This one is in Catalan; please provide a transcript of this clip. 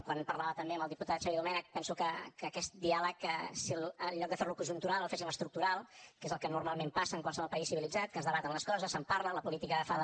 quan parlava també amb el diputat xavier domènech penso que aquest diàleg si en lloc de fer lo conjuntural el féssim estructural que és el que normalment passa en qualsevol país civilitzat que es debaten les coses se’n parla la política fa de